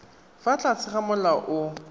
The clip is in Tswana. fa tlase ga molao o